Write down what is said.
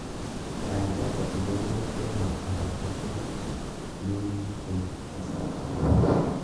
Gaigai indene tyendo agetugul negigityeni kasari